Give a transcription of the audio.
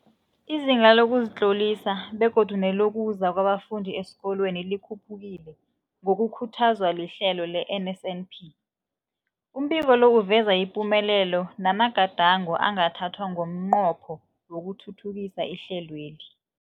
Izinga lokuzitlolisa begodu nelokuza kwabafundi esikolweni likhuphukile ngokukhuthazwa lihlelo le-NSNP. Umbiko lo uveza ipumelelo namagadango angathathwa ngomnqopho wokuthuthukisa ihlelweli.